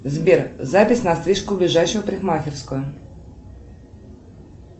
сбер запись на стрижку в ближайшую парикмахерскую